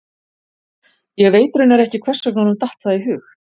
Ég veit raunar ekki hvers vegna honum datt það í hug.